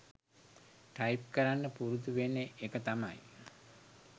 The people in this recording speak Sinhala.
ටයිප් කරන්න පුරුදු වෙන එක තමයි